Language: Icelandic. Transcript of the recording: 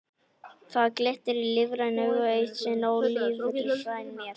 Það glittir í lífræn augu, eitt sinn ólífræn mér.